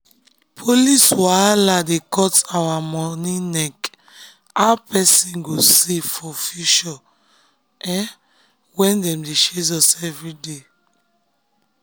police wahala dey cut our money neck how person go save for future when dem dey chase us everyday.